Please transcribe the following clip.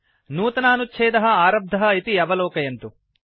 नूतनानुच्छेदः आरब्धः इति अवलोकयन्तु